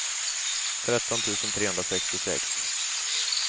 tretton tusen trehundrasextiosex